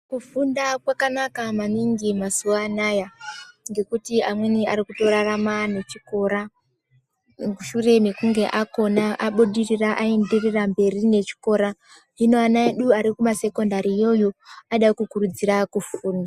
Kufunda kwakanaka maningi mazuva anaya ngekuti amweni arikutorarama nechikora mushure mekunge akona abudirira aendirira mberi nechikora. Hino ana edu arikumasekendariyo iyoyo anoda kukurudzira kufunda.